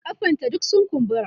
kafan ta duk sun kumbura